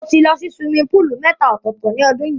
Mo ti lọ sí siwimi póòlù mẹ́ta ọ̀tọ̀ọ̀tọ̀ nínú ọdún yìí.